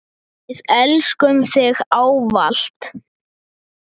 Við elskum þig ávallt.